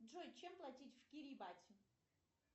джой чем платить в кирибате